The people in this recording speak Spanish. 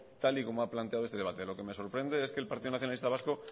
tal y como ha planteado este debate lo que me sorprende es que el partido nacionalista vasco